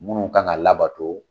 Munnu kan ka labato.